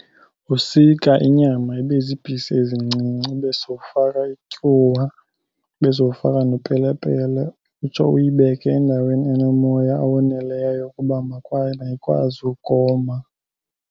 Usika inyama ibe ziipisi ezincinci, ube sowufaka ityuwa, ube sowufaka nepelepele, utsho uyibeke endaweni enomoya owoneleyo ukuba mayikwazi ukoma.